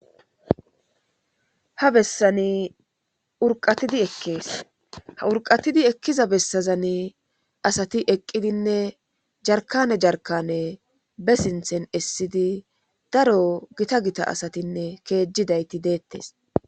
ha bessani urqatidi ekkees ha urqatidi ekkiza bessazani asati eqqidinne jarkane jarkane be sinthen essidi daro gita gita asatinne keejidayti deettes